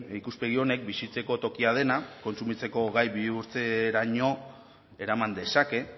ikuspegi honek bizitzeko tokia dena kontsumitzeko gai bihurtzeraino eraman dezake